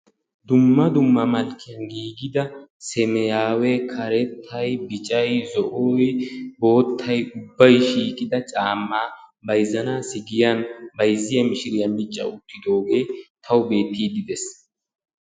dumma dumma merani giigida caamay bayzanassi giyani bayzzanawu mici wottidoge beetesi.